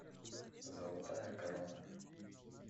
золотая корона